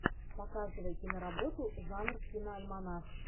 показывай киноработу жанр киноальманах